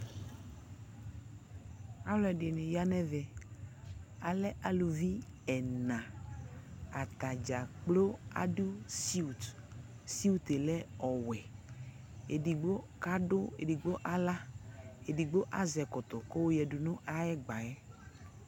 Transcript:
Alʋɛdɩnɩ ya nʋ ɛvɛ Alɛ aluvi ɛna Ata dza kplo adʋ siwut Siwut yɛ lɛ ɔwɛ Edigbo kadʋ edigbo aɣlak Edigbo azɛ ɛkɔtɔ kʋ ayɔyǝdu nʋ ayʋ ɛgba yɛ